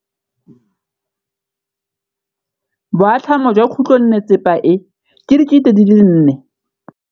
Boatlhamô jwa khutlonnetsepa e, ke 400.